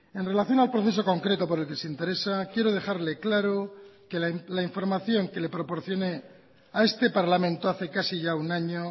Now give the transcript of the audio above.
en relación al proceso concreto por el que se interesa quiero dejarle claro que la información que le proporcioné a este parlamento hace casi ya un año